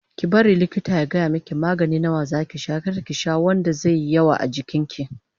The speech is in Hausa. Ki bari likita ya gaya miki magani nawa zaki sha kar ki sha wanda zaiyi yawa a jikin ki